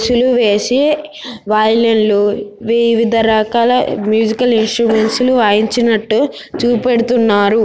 శిలువేసి వయేలిల్లు వివిధరకాల musical instruments వాయించినట్టు చుపెడుతున్నారు.